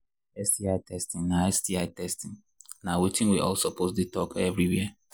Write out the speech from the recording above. sti testing na sti testing na watin we all suppose they talk everywhere